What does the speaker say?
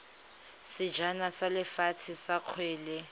sejana sa lefatshe sa kgwele